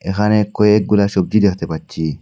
এখানে কয়েকগুলা সবজি দেখতে পাচ্ছি।